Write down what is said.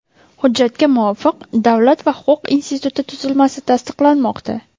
Hujjatga muvofiq Davlat va huquq instituti tuzilmasi tasdiqlanmoqda.